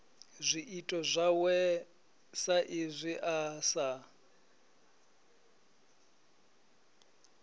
zwiito zwawe saizwi a sa